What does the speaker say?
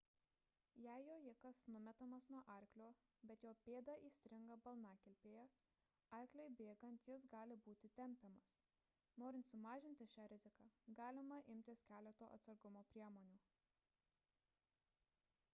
jei jojikas numetamas nuo arklio bet jo pėda įstringa balnakilpėje arkliui bėgant jis gali būti tempiamas norint sumažinti šią riziką galima imtis keleto atsargumo priemonių